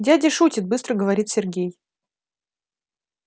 дядя шутит быстро говорит сергей